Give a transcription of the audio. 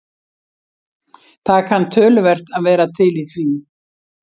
Það kann töluvert að vera til í því.